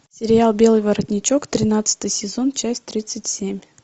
сериал белый воротничок тринадцатый сезон часть тридцать семь